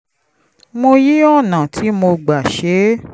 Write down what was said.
mo yí ọ̀nà tí mo gbà ṣe é